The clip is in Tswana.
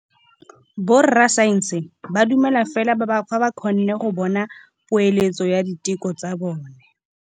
Borra saense ba dumela fela fa ba kgonne go bona poeletsô ya diteko tsa bone.